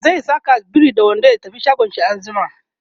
zai Saka biri da wando ya tafi shagon shi anjima